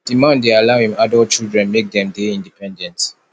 di man dey allow im adult children make dem dey independent